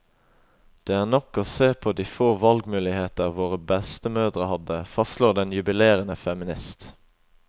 Det er nok å se på de få valgmuligheter våre bestemødre hadde, fastslår den jubilerende feminist.